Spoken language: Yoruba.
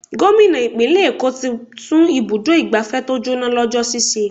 Gómìnà ìpínlè èkó tí tún ibùdó igbàfẹ́ tó jóná lọ́jọ́ sì ṣe.